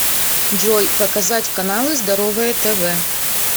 джой показать каналы здоровое тв